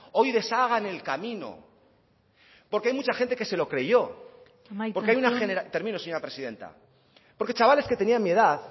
hoy deshagan el camino porque hay mucho gente que se lo creyó amaitzen joan porque hay una generación término señora presidenta porque chavales que tenían mi edad